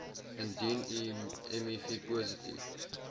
indien u mivpositief